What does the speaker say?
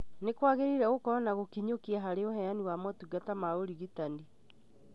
Nĩ kwagĩrĩire gũkorwo na gũkinyũkia harĩ uheani wa motungata ma ũrigitani